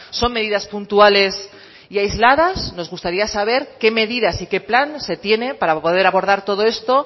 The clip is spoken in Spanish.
son medidas puntuales y aisladas nos gustaría saber qué medidas y qué plan se tiene para poder abordar todo esto